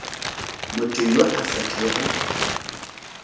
motho yo a sa kego